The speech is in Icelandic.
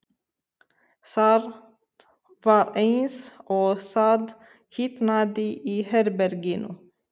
Það var eins og það hitnaði í herberginu.